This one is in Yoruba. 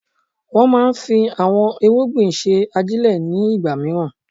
Wọ́n máa ń fi àwon irúgbìn ṣe ajílẹ̀ ní ìgbàmìíràn.